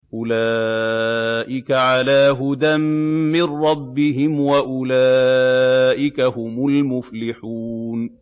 أُولَٰئِكَ عَلَىٰ هُدًى مِّن رَّبِّهِمْ ۖ وَأُولَٰئِكَ هُمُ الْمُفْلِحُونَ